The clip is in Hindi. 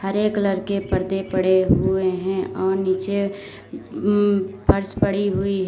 हरे कलर के पर्दे पड़े हुए हैं और नीचे फर्श पड़ी हुई है।